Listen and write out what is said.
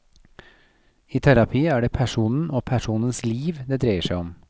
I terapi er det personen og personens liv det dreier seg om.